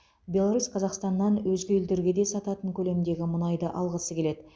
беларусь қазақстаннан өзге елдерге де сататын көлемдегі мұнайды алғысы келеді